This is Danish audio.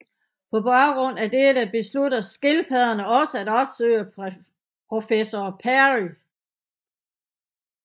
På baggrund af dette beslutter skildpadderne også at opsøge professor Perry